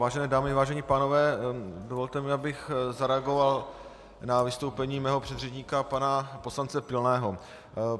Vážené dámy, vážení pánové, dovolte mi, abych zareagoval na vystoupení mého předřečníka pana poslance Pilného.